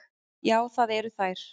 Já, það eru þær.